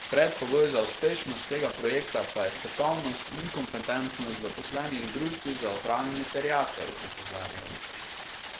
Predpogoj za uspešnost tega projekta pa je strokovnost in kompetentnost zaposlenih v družbi za upravljanje terjatev, opozarjajo.